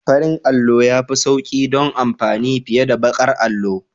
Farin allo ya fi sauƙi don amfani fiye da baƙar allo.